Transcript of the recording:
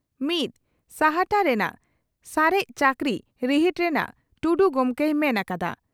ᱢᱤᱛ ᱥᱟᱦᱴᱟ ᱨᱮᱱᱟᱜ ᱥᱟᱨᱮᱡ ᱪᱟᱹᱠᱨᱤ ᱨᱤᱦᱤᱴ ᱨᱮᱱᱟᱜᱹᱹᱹᱹᱹ ᱴᱩᱰᱩ ᱜᱚᱢᱠᱮᱭ ᱢᱮᱱ ᱟᱠᱟᱫᱟ ᱾